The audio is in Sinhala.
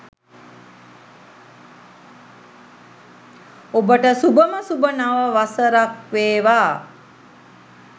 ඔබට සුභම සුභ නව වසරක් වේවා